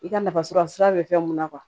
I ka nafa sɔrɔ sira bɛ fɛn mun na